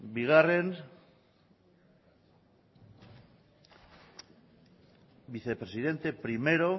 bigarren vicepresidente primero